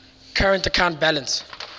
current account balance